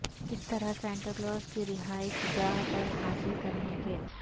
کس طرح Santa Claus کی رہائش گاہ پر حاصل کرنے کے